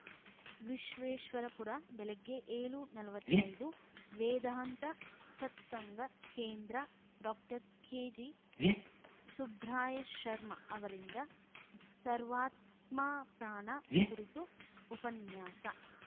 ವಿಶ್ವೇಶ್ವರಪುರ ಬೆಳಗ್ಗೆ ಏಳುನಲ್ವತ್ತೈದು ವೇದಾಂತ ಸತ್ಸಂಗ ಕೇಂದ್ರ ಡಾಕೆಜಿಸುಬ್ರಾಯ ಶರ್ಮಾ ಅವರಿಂದ ಸರ್ವಾತ್ಮಾ ಪ್ರಾಣ ಕುರಿತು ಉಪನ್ಯಾಸ